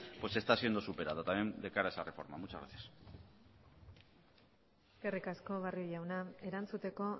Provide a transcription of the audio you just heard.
pues está siendo superada también de cara a esa reforma muchas gracias eskerrik asko barrio jauna erantzuteko